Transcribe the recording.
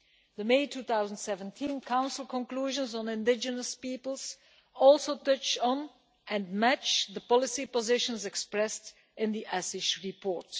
The May 2017 Council conclusions on indigenous peoples touch on and match the policy positions expressed in the Assis report.